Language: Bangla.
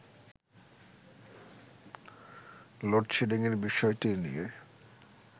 লোড শেডিংয়ের বিষয়টি নিয়ে